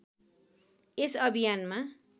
यस अभियानमा